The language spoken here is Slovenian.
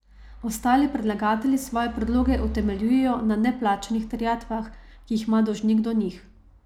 Ostali predlagatelji svoje predloge utemeljujejo na neplačanih terjatvah, ki jih ima dolžnik do njih.